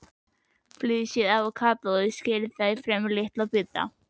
Flysjið avókadóið og skerið það í fremur litla bita.